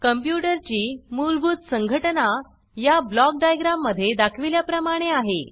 computer ची मूलभूत संघटना या ब्लॉक डायग्राम मध्ये दाखविल्याप्रमाणे आहे